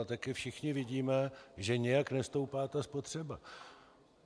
A taky všichni vidíme, že nijak nestoupá ta spotřeba.